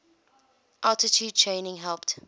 altitude training helped